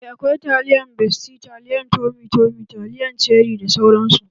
Aa akawai taliyan besti, taliyan tomi tomi, taliyan ceri da sauran su